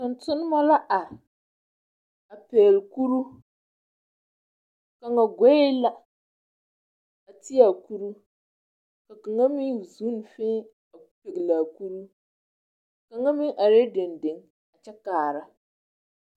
Tontonnemɔ la ar a pɛgle kuruu, kaŋa goe la a ti a kuruu, ka kaŋa meŋ zun fẽẽ a pegle a kuruu. Kaŋa meŋ arɛɛ dendeŋ kyɛ kaara.